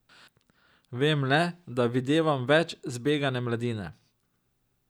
Vem le, da videvam več zbegane mladine.